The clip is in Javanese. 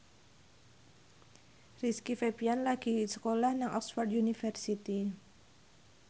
Rizky Febian lagi sekolah nang Oxford university